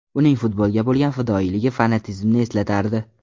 Uning futbolga bo‘lgan fidoyiligi fanatizmni eslatardi.